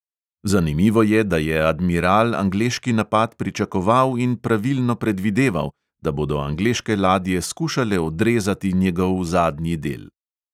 Zanimivo je, da je admiral angleški napad pričakoval in pravilno predvideval, da bodo angleške ladje skušale odrezati njegov zadnji del.